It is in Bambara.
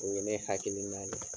O ye ne hakili na ye.